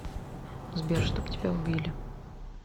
сбер чтоб тебя убили